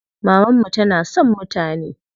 Mamanmu tana son mutane.